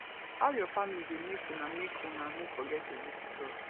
how your family dey make una make una no forget to visit us